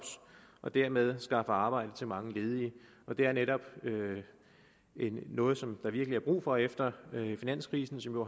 og dermed skaffe arbejde til mange ledige og det er netop noget som der virkelig er brug for efter finanskrisen som nu